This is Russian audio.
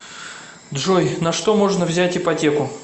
джой на что можно взять ипотеку